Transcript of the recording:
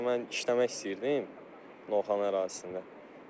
Mən işləmək istəyirdim Novxanı ərazisində.